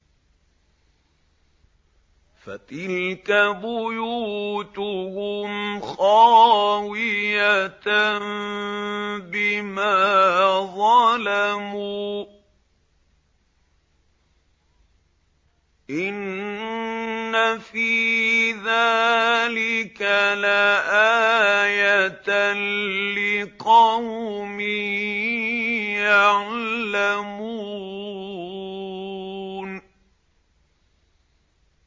فَتِلْكَ بُيُوتُهُمْ خَاوِيَةً بِمَا ظَلَمُوا ۗ إِنَّ فِي ذَٰلِكَ لَآيَةً لِّقَوْمٍ يَعْلَمُونَ